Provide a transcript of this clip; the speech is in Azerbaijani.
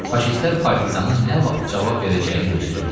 Faşistlər partizanın nə vaxt cavab verəcəyini gözləyirdilər.